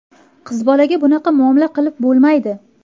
Qizbolaga bunaqa muomala qilib bo‘lmaydi.